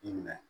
I minɛ